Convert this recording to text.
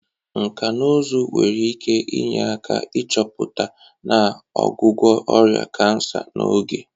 Nkà na ụzụ nwere ike inye aka ịchọpụta na ọgwụgwọ ọrịa kansa n'oge.